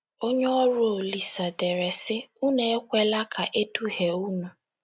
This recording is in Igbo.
Onye ọrụ Olise dere, sị: “ Unu ekwela ka e duhie unu.